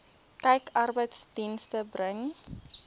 kyk arbeidsdienste bring